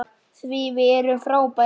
Því við erum frábær.